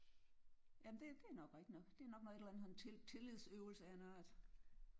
Ja men det det er nok rigtig nok. Det er nok når et eller andet tillid tillidsøvelse af en art